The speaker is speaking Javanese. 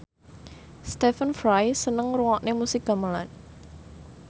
Stephen Fry seneng ngrungokne musik gamelan